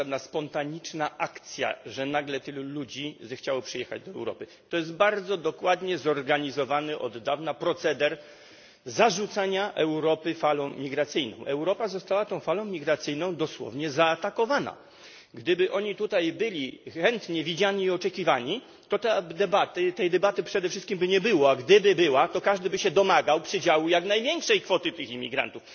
To nie jest żadna spontaniczna akcja, że nagle tylu ludzi zechciało przyjechać do Europy. To jest bardzo dokładnie organizowany od dawna proceder zalewania Europy falą migracyjną. Europa została tą falą migracyjną dosłownie zaatakowana. Gdyby imigranci tutaj byli chętnie widziani i oczekiwani, to debaty tej debaty przede wszystkim by nie było. A gdyby się odbyła, to każdy by się domagał przydziału jak największej kwoty tych imigrantów.